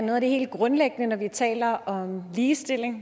at noget af det helt grundlæggende når vi taler om ligestilling